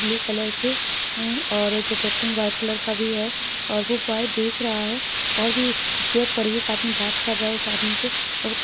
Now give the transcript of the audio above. blue colour के है क्या कहते है व्हाइट कलर का भी है और बो देख और भी चेयर पड़ी और एक आदमी बात कर रहा है उस आदमी से--